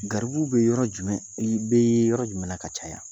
Gariribuw be yɔrɔ jumɛn ? I be yɔrɔ jumɛn na ka caya ?